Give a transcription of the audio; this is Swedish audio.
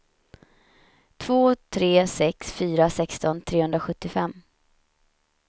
två tre sex fyra sexton trehundrasjuttiofem